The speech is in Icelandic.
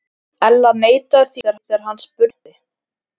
Ella neitaði því þegar hann spurði.